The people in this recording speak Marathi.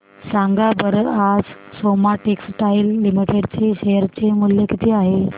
सांगा बरं आज सोमा टेक्सटाइल लिमिटेड चे शेअर चे मूल्य किती आहे